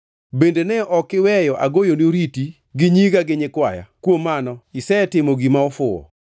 Bende ne ok iweyo agoyoni oriti gi nyiga gi nyikwaya. Kuom mano isetimo gima ofuwo.